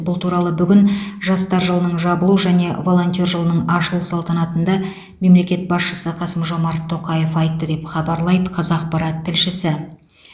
бұл туралы бүгін жастар жылының жабылу және волонтер жылының ашылу салтанатында мемлекет басшысы қасым жомарт тоқаев айтты деп хабарлайды қазақпарат тілшісі